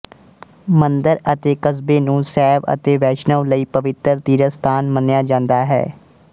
ਮੰਦਰ ਅਤੇ ਕਸਬੇ ਨੂੰ ਸ਼ੈਵ ਅਤੇ ਵੈਸ਼ਨਵ ਲਈ ਪਵਿੱਤਰ ਤੀਰਥ ਸਥਾਨ ਮੰਨਿਆ ਜਾਂਦਾ ਹੈ